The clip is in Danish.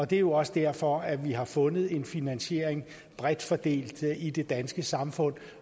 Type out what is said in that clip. det er jo også derfor at vi har fundet en finansiering bredt fordelt i det danske samfund